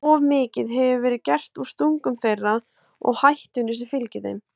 Of mikið hefur verið gert úr stungum þeirra og hættunni sem fylgir þeim.